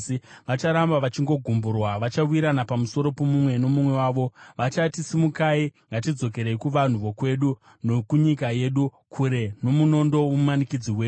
Vacharamba vachingogumburwa; vachawa mumwe nomumwe pamusoro pomumwe. Vachati, ‘Simukai, ngatidzokerei kuvanhu vokwedu nokunyika yedu, kure nomunondo womumanikidzi wedu.’